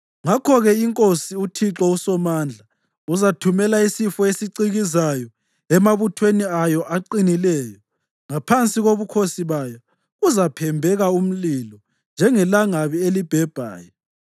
Ngakho-ke, iNkosi, uThixo uSomandla, uzathumela isifo esicikizayo emabuthweni ayo aqinileyo; ngaphansi kobukhosi bayo kuzaphembeka umlilo njengelangabi elibhebhayo.